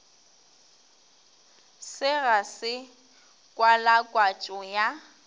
se ga se kwalakwatšo ya